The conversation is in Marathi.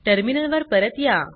टर्मिनल वर परत या